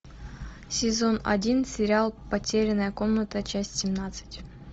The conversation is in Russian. сезон один сериал потерянная комната часть семнадцать